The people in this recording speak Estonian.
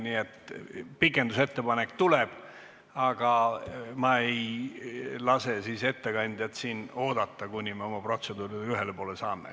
Nii et pikendamise ettepanek tuleb, aga ma ei lase ettekandjal siin oodata, kuni me oma protseduuriga ühele poole saame.